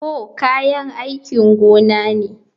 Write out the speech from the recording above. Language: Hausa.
Hoe kayan aikin gona ne